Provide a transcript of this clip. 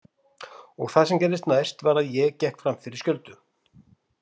Og það sem gerðist næst var að ég gekk fram fyrir skjöldu.